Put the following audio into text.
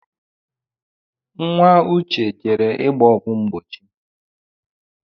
Nwa uche jere ịgba ọgwụ mgbochi